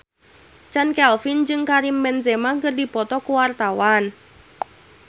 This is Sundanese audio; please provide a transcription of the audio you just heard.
Chand Kelvin jeung Karim Benzema keur dipoto ku wartawan